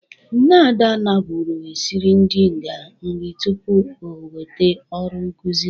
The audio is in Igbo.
Nna Ada nabụrụ esiri ndị nga nri tupu o nwete ọrụ nkụzi.